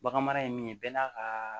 Baganmara ye min ye bɛɛ n'a kaa